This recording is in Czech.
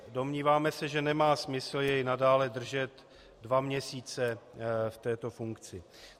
Domníváme se, že nemá smysl jej nadále držet dva měsíce v této funkci.